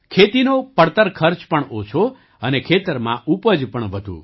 ખેતીનો પડતર ખર્ચ પણ ઓછો અને ખેતરમાં ઉપજ પણ વધુ